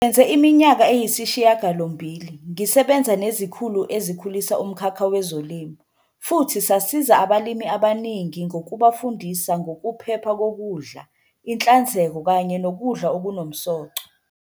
"Ngisebenze iminyaka eyisishiyagalombili, ngisebenza nezikhulu ezikhulisa umkhakha wezolimo, futhi sasiza abalimi abaningi ngokubafundisa ngokuphepha kokudla, inhlanzeko kanye nokudla okunomsoco."